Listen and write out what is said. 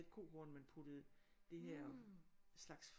Et kohorn man puttede det her slags